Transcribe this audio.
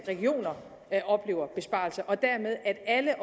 regioner oplever besparelser og dermed at alle